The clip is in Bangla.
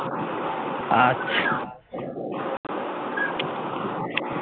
আচ্ছা